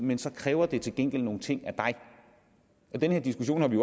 men så kræver det til gengæld nogle ting af dig den her diskussion har vi